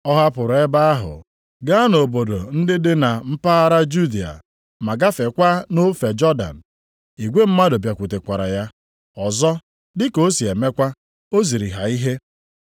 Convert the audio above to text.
Ọ hapụrụ ebe ahụ gaa nʼobodo ndị dị na mpaghara Judịa ma gafeekwa nʼofe Jọdan. Igwe mmadụ bịakwutekwara ya, ọzọ, dị ka o si emekwa, o ziri ha ihe.